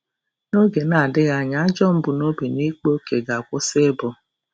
N'oge na-adịghị anya ajọ mbunobi na ịkpa ókè ga-akwụsị ịbụ.